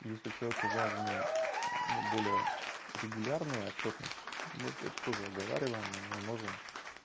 если человеку важное ну более регулярная отчётность мы это тоже оговариваем а мы можем